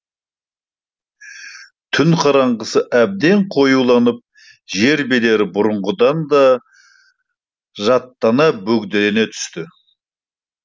түн қараңғысы әбден қоюланып жер бедері бұрынғыдан да жаттана бөгделене түсті